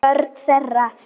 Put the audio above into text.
Börn þeirra.